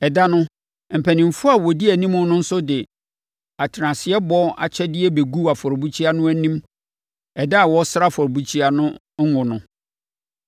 Ɛda no, mpanimfoɔ a wɔdi anim no nso de atenaseɛbɔ akyɛdeɛ bɛguu afɔrebukyia no anim da a wɔresra afɔrebukyia no ngo no.